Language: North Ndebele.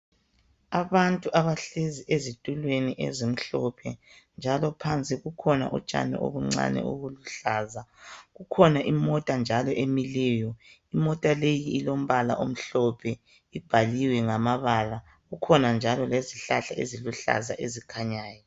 Abantu abahlezi ezitulweni ezimhlophe njalo phansi kukhona utshani ubuncane ubuluhlaza kukhona imota njalo emileyo, imota leyielombala omhlophe bhaliwe ngamabala ,kukhona njalo lezihlahla eziluhlaza ezikhanyayo.